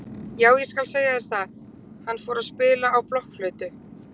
Jú ég skal segja þér það, hann fór að spila á blokkflautu.